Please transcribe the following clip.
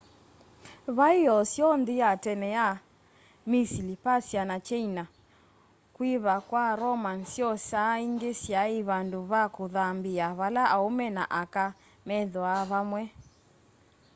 vai o syoo nthi ya tene ya misili persia na kyeina kuiva kwa roman syoo saa ingi syai vandu va kuthambia vala aume na aka methwaa vamwe